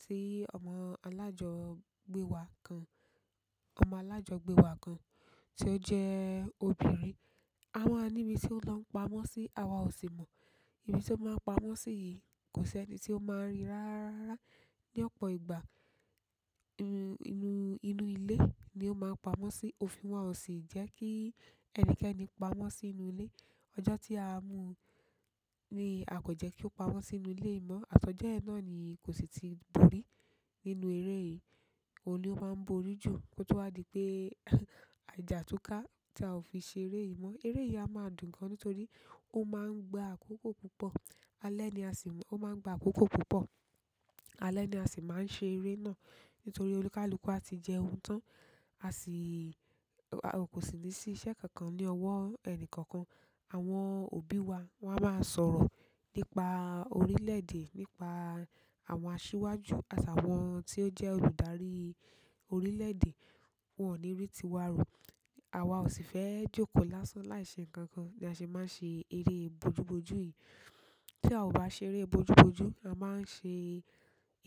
tí ọmọ alájọgbé wa kan, ọmọ alájọgbé wa kan tí ó jẹ́ obìnrin. A wáa níbi tí ón lọ ń pamọ́ sí, àwa ò sì mọ̀. Ibi to maa n pamọ́ si yìí, ko seni ti o maa n ri rara rara ra ni opo ìgbà, inú, inú inú ilé ni ó máa ń pamọ́ sí. Òfin wa ò sì jẹ́ kí ẹnikẹ́ni pamọ́ sínúlé. Ojo ti a mu u ni a ko je ki o pamọ́ sínú ile yìí mo, atojo yen náà ni ko si ti bori nínú ere yìí. Òun ni ó máa ń borí jù. Ko to wá di pé à jà túká tí a ò fi ṣeré yìí mọ́. Eré yìí a máa dùn gan-an nítorí ó máa ń gba àkókò púpọ̀. Alẹ́ ni a sì, ó máa ń gba àkókò púpọ̀. Alẹ̀ ni a sì máa ń ṣeré náà nítorí olúkàlúkù a ti jẹun tán. A si, ko si le si iṣẹ́ kankan ni owo ẹni kankan. Àwọn òbí wa, wọ́n á máa sọ̀rọ̀ nípa orílẹ̀èdè, nípa àwọn asíwájú àtàwọn tí ó jẹ́ olùdarí orílẹ̀èdè. Won o ni ri tiwa ro, awa o si fe joko lásán láì se nkankan ni a se maa n se ere bojuboju yìí ti a o ba ṣeré bojuboju a maa n se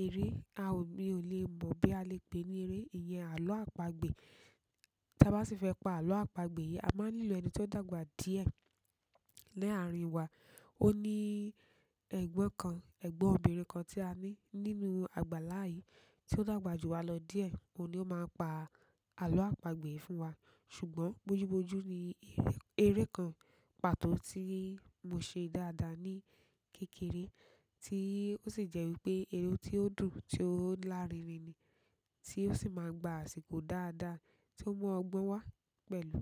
ere, a o, mi o le mo boya a le pe ni ere iyen alo apagbe tí a bá sì fẹ́ pa àlọ́ àpagbè yìí, a máa ń nílò ẹni tí ó dàgbà díẹ̀ le àárín wa. Ó ní ẹ̀gbọ́n kan, ẹ̀gbọ́n obìnrin kan tí a ní nínú àgbàlá yìí tí ó dàgbà ju wa lọ díẹ̀. Òun ni ó máa ń pa àlọ́ àpagbè fún wa. Ṣùgbọ́n bojú bojú ni eré, eré kan pàtó tí mo ṣe dáadáa ní kékeré tí ó sì jẹ́ wípé eré tí ó dùn, tí ó lárinrin ni tí ó sì máa ń gba àsìkò dáadáa tí ó mú ọgbọ́n wá pẹ̀lú.